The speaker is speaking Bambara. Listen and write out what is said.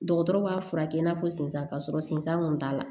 Dɔgɔtɔrɔ b'a furakɛ i n'a fɔ sisan k'a sɔrɔ sensan kun t'a la